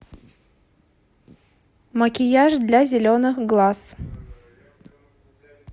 макияж для зеленых глаз